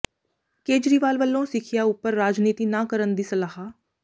ਕੇਜਰੀਵਾਲ ਵੱਲੋਂ ਸਿੱਖਿਆ ਉਪਰ ਰਾਜਨੀਤੀ ਨਾ ਕਰਨ ਦੀ ਸਲਾਹ